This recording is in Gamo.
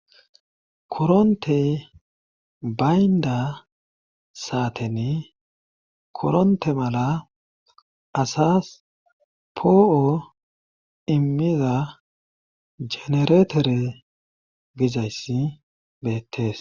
koronte baynda saaten koronte mala asas poo7o immiza genereetere gizayssi beettes